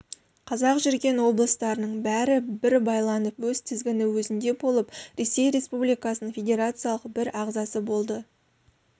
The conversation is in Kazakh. қазақ жүрген облыстарының бәрі бір байланып өз тізгіні өзінде болып ресей республикасының федерациялық бір ағзасы болады